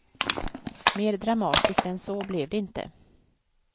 Mer dramatiskt än så blev det inte.